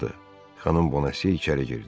Xanım Bonase içəri girdi.